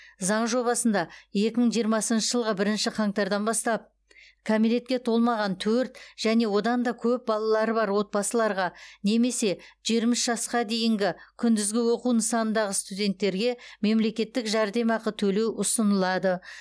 заң жобасында екі мың жиырмасыншы жылғы бірінші қаңтардан бастап кәмелетке толмаған төрт және одан да көп балалары бар отбасыларға немесе жиырма үш жасқа дейінгі күндізгі оқу нысанындағы студенттерге мемлекеттік жәрдемақы төлеу ұсынылады